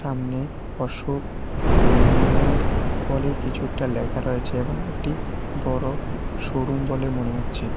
সামনে অশোক লেইল্যান্ড বলে কিছু একটা লেখা রয়েছে এবং একটি বড় শোরুম বলে মনে হচ্ছে।